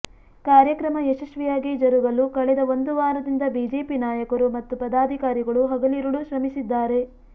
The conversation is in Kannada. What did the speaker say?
ಕಾರ್ಯಕ್ರಮ ಯಶಸ್ವಿಯಾಗಿ ಜರುಗಲು ಕಳೆದ ಒಂದು ವಾರದಿಂದ ಬಿಜೆಪಿ ನಾಯಕರು ಮತ್ತು ಪದಾಧಿಕಾರಿಗಳು ಹಗಲಿರುಳು ಶ್ರಮಿಸಿದ್ದಾರೆ